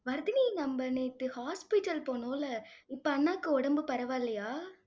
வர்தினி, நம்ம நேத்து hospital போனோம், இப்ப அண்ணாக்கு உடம்பு பரவால்லையா?